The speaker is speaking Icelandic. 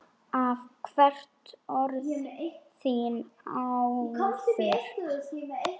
Hef heyrt orð þín áður.